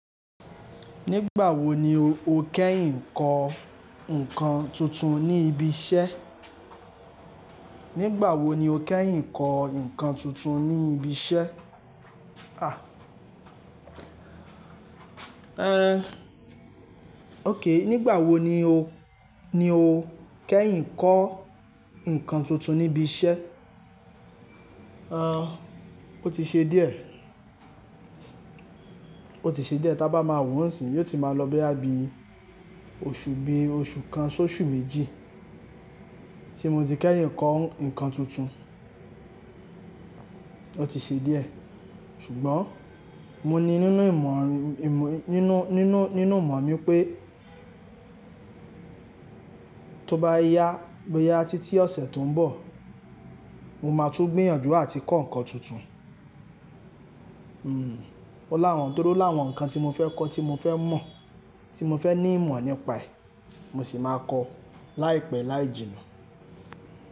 Nígbà wo ni o kẹ́yìn kọ ǹkan tuntun ní ibi iṣẹ́? Nígbà wo ni o kẹ́yìn kọ ǹkan tuntun ní ibi iṣẹ́? Àh! Ehn. OK. Nígbà wo ni o, ni o kẹ́yìn kọ ǹkan tuntun níbi iṣẹ́? Àh, ó ti ṣe díẹ̀. Ó ti ṣe díẹ̀, tí a bá máa wò nsin yiò ti máa lọ bóyá bí oṣù bí i oṣù kan s'oṣù méjì tí mo ti kẹ́yìn kọ ǹkan tuntun. Ó ti ṣe díẹ̀ ṣùgbọ́n mo ní nínú ìmọ̀ rìn, ìmọ̀, nínú, nínú, nínú ìmọ̀ mi pé tó bá ya, bó ya títí ọ̀sẹ̀ tó ń bọ̀, mo máa tún gbìyànjú àti kọ ǹkan tuntun. Hmm. Ó láwọn, torí ó láwọn ǹkan tí mo fẹ́ kọ tí mo fẹ́ mọ̀, tí mo fẹ́ ní ìmọ̀ nípa ẹ̀. Mo sì máa kọ láìpẹ́ láì jìnnà.